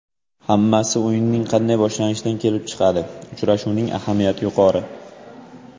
Hammasi o‘yinning qanday boshlanishidan kelib chiqadi, uchrashuvning ahamiyati yuqori.